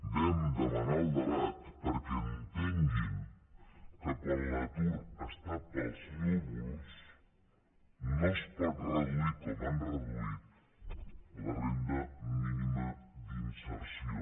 vam demanar el debat perquè entenguin que quan l’atur està pels núvols no es pot reduir com han reduït la renda mínima d’inserció